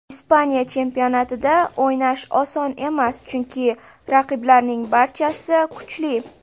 Ispaniya chempionatida o‘ynash oson emas, chunki raqiblarning barchasi kuchli.